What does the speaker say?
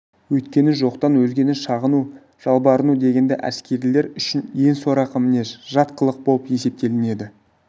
өйткені жоқтан өзгені шағыну жалбарыну дегенді әскерилер үшін ең сорақы мінез жат қылық болып есептелінеді